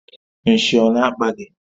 Nshị ọ na-akpa gị?